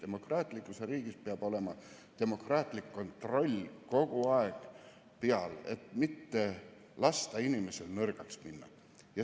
Demokraatlikus riigis peab olema demokraatlik kontroll kogu aeg peal, et mitte lasta inimesel nõrgaks muutuda.